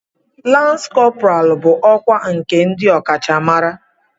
Lans kọpọral bụ ọkwá nke ndị ọkachamara.